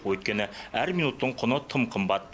өйткені әр минуттың құны тым қымбат